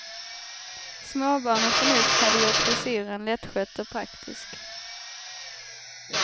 Småbarn och förnuft hade gjort frisyren lättskött och praktisk.